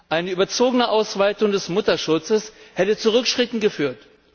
Eine überzogene Ausweitung des Mutterschutzes hätte zu Rückschritten geführt.